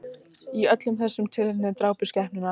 Í öllum þessum tilfellum drápust skepnurnar